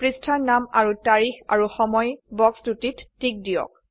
পৃষ্ঠাৰ নাম আৰু তাৰিখ আৰু সময় বক্স দুটিত টিক দিয়ক